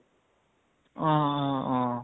অহ অহ অহ